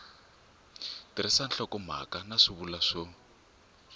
tirhisa nhlokomhaka na swivulwa swo